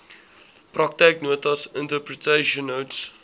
praktyknotas interpretation notes